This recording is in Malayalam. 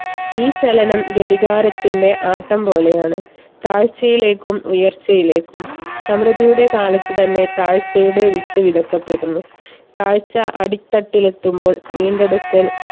ഈ ചലനം ഘടികാരത്തിന്റെ ആട്ടം പോലെയാണ് താഴ്ചയിലേക്കും ഉയർച്ചയിലേക്കും സമൃദ്ധിയുടെ കാലത്ത് തന്നെ താഴ്ചയുടെ വിത്ത് വിതക്കപ്പെടുന്നു. താഴ്ച അടിത്തട്ടിലെത്തുമ്പോൾ വീണ്ടെടുക്കൽ